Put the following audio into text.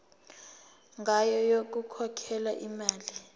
ngayo yokukhokhela imali